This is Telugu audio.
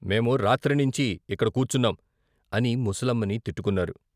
మేము రాత్రినించి ఇక్కడ కూర్చున్నాం అని ముసలమ్మని తిట్టుకున్నారు.